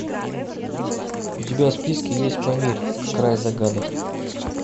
у тебя в списке есть памир край загадок